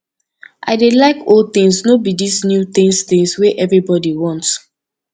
i dey like old things no be dis new things things wey everybody want